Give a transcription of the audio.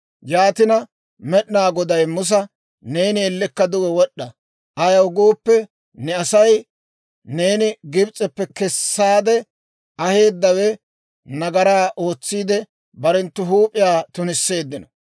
Yaanina Med'inaa Goday Musa, «Neeni ellekka duge wod'd'a; ayaw gooppe, ne asay, neeni Gibs'eppe kessaade aheeddawe nagaraa ootsiidde, barenttu huup'iyaa tunisseeddino.